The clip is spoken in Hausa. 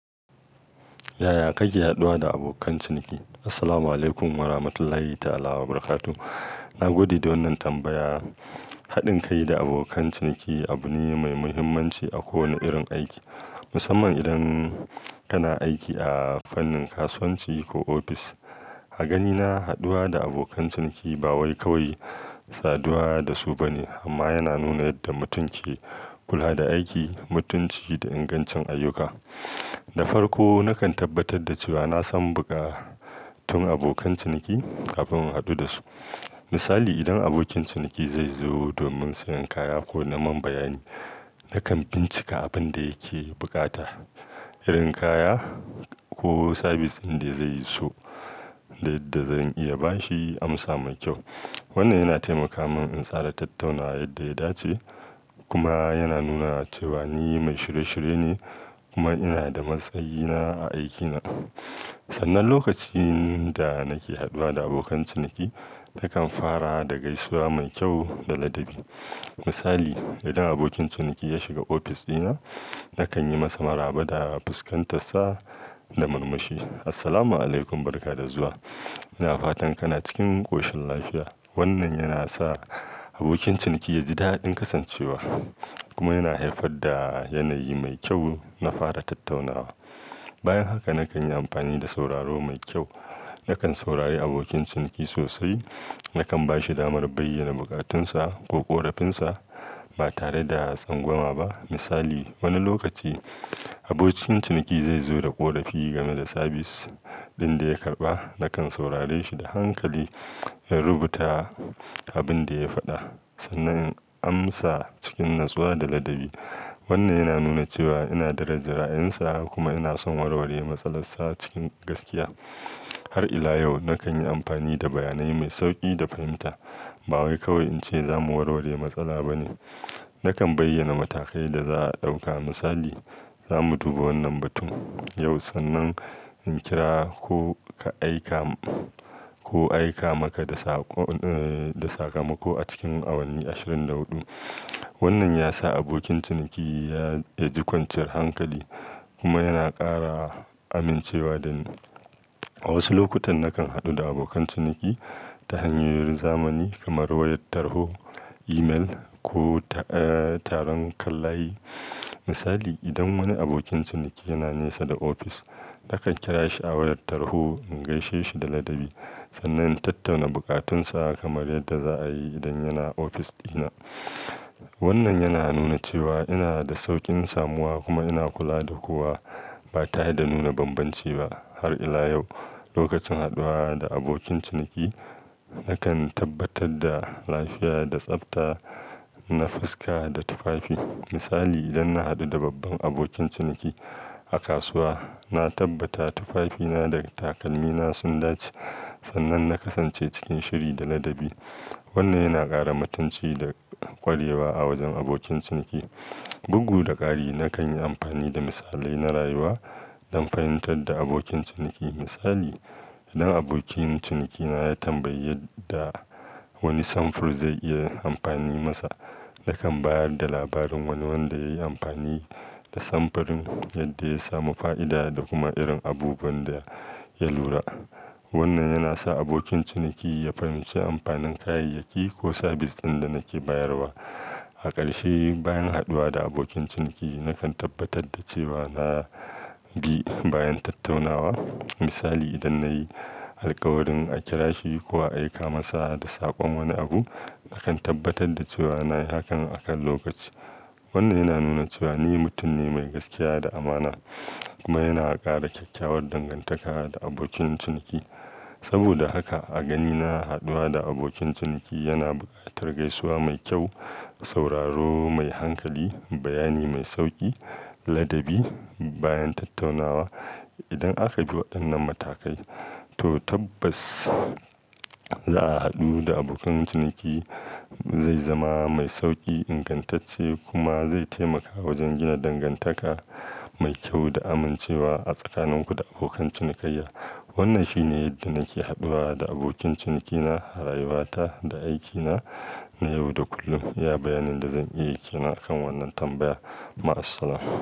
Yaya kake haɗuwa da abokan ciniki? Assalamuala'ikum warahmatullahi ta'ala wabarakatuh. Nagode da wannan tambaya. Haɗin kai da abokan ciniki abu ne mai muhimmanci a kowane irin aiki, musamman idan kana aiki a fannin kasuwanci ko ofis. A ganina, haɗuwa da abokan ciniki ba wai kawai saduwa da su ba ne, amma yana nuna yadda mutum ke kula da aiki, mutunci da ingancin ayyuka. Na farko, nakan tabbatar da cewa na san buƙatun abokan ciniki kafin in haɗu da su. Misali, idan abokin ciniki zai zo domin siyan kaya ko na man bayani, nakan bincika abin da yake bukata, irin kaya ko sabis ɗin da zai so da yadda zan iya ba shi amsa mai kyau. Wannan yana taimaka min in tsara tattaunawa yadda ya dace kuma yana nuna cewa ni mai shirye-shirye ne kuma ina da matsayina a aikina. Sannan, lokacin da nake haɗuwa da abokan ciniki, nakan fara da gaisuwa mai kyau da ladabi. Misali, idan abokin ciniki ya shiga ofis ɗina, nakan yi masa maraba da fuskantansa da murmushi Assalamu alaikum barka da zuwa. Ina fatan kana cikin ƙoshin lafiya. Wannan yana sa abokin ciniki ya ji daɗin kasancewa kuma yana haifar da yanayi mai kyau na fara tattaunawa. Bayan haka, nakan yi amfani da sauraro mai kyau. Nakan saurari abokin ciniki sosai. Nakan ba shi damar bayyana bukatunsa ko ƙorafinsa ba tare da tsangwama ba. Misali, wani lokaci abokin ciniki zai zo da ƙorafi game da sabis ɗin da ya karɓa. Nakan saurare shi da hankali, in rubuta abin da ya faɗa sannan in amsa cikin natsuwa da ladabi. Wannan yana nuna cewa ina daraja ra'ayinsa kuma ina son warware matsala sa cikin gaskiya. Har ila yau, nakan yi amfani da bayanai mai sauƙi da fahimta. Ba wai kawai in ce za mu warware matsala ba ne. Nakan bayyana matakai da za a ɗauka. Misali, za mu duba wannan batun yau sannan in kira ko ka aika ko aika maka da saƙo emh da sakamako a cikin awanni ashirin da huɗu." Wannan ya sa abokin ciniki ya, ya ji kwanciyar hankali kuma yana ƙara amincewa da ni. A wasu lokutan, nakan haɗu da abokan ciniki ta hanyoyin zamani kamar wayar tarho, emel ko, eh, taron kan layi. Misali, idan wani abokin ciniki yana nesa da ofis, nakan kira shi a wayar tarho in gaishe shi da ladabi sannan in tattauna bukatunsa kamar yadda za a yi idan yana ofis ɗina. Wannan yana nuna cewa ina da sauƙin samuwa kuma ina kula da kowa ba tare da nuna bambanci ba. Har ila yau, lokacin haɗuwa da abokin ciniki, nakan tabbatar da lafiya da tsafta na fuska da tufafi. Misali, idan na haɗu da babban abokin ciniki a kasuwa, na tabbata tufafina da takalmina sun dace sannan na kasance cikin shiri da ladabi. Wannan yana ƙara mutunci da ƙwarewa a wajen abokin ciniki. Bugu da ƙari, nakan yi amfani da misalai na rayuwa don fahimtar da abokin ciniki. Misali, idan abokin cinikina ya tambayi yadda wani samfur zai iya amfani masa, nakan bayar da labarin wani wanda ya yi amfani da samfurin yadda ya samu fa'ida da kuma irin abubuwan da ya lura. Wannan yana sa abokin ciniki ya fahimci amfanin kayayyaki ko sabis ɗin da nake bayarwa. A ƙarshe, bayan haɗuwa da abokin ciniki, nakan tabbatar da cewa na bi bayan tattaunawa. Misali, idan na yi alƙawarin a kira shi ko a aika masa da saƙon wani abu, nakan tabbatar da cewa na yi hakan a kan lokaci. Wannan yana nuna cewa ni mutum ne mai gaskiya da amana kuma yana ƙara kyakkyawar dangantaka da abokin ciniki. Saboda haka, a ganina haɗuwa da abokin ciniki yana buƙatar gaisuwa mai kyau, sauraro mai hankali, bayani mai sauƙi, ladabi bayan tattaunawa. Idan aka bi waɗannan matakai, to tabbas za'a haɗu da abokan ciniki zai zama mai sauƙi, ingantacce kuma zai taimaka wajen gina dangantaka mai kyau da amincewa a tsakaninku da abokan cinikayya. Wannan shi ne yadda nake haɗuwa da abokin cinikina a rayuwata da aikina na yau da kullum. Iya bayanin da zan iya yi kenan wannan tambaya. Ma'assalam.